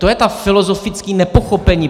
To je to filozofické nepochopení.